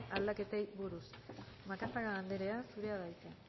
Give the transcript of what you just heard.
aldaketei buruz macazaga anderea zurea da hitza